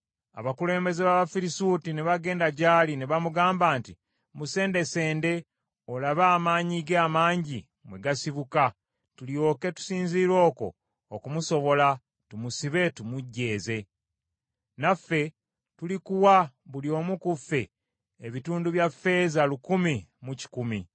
Abakulembeze b’Abafirisuuti ne bagenda gy’ali ne bamugamba nti, “Musendesende olabe amaanyi ge amangi mwe gasibuka, tulyoke tusinziire okwo okumusobola, tumusibe tumujeeze. Naffe tulikuwa buli omu ku ffe, ebitundu bya ffeeza lukumi mu kikumi .”